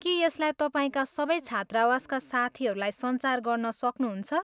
के यसलाई तपाईँका सबै छात्रावासका साथीहरूलाई सञ्चार गर्न सक्नुहुन्छ?